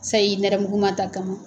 Sayi nɛrɛmuguma ta kama